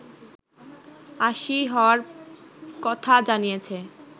৮০ হওয়ার কথা জানিয়েছে